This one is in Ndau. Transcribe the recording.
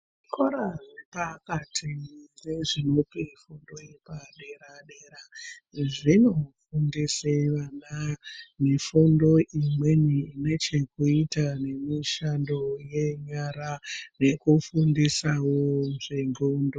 Zvikora zvepakati nezvinopa fundo yepadera dera zvinofundisa vana mifundo imweni ine chekuite nemishando yenyara nekufundisawo zvendxondo.